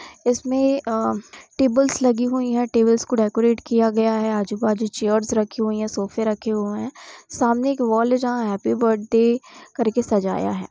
इसमें अ- टेबल्स लगी हुई हैं। टेबल्स को डेकोरेट किया गया है। आजू बाजू चेयर्स रखी हुई हैं। सोफे रखें हुए हैं। सामने एक वॉल है। जहां हैप्पी बर्थडे करके सजाया है।